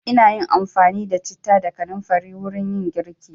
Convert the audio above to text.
Ina yin amfani da citta da kanamfari wurin yin girki.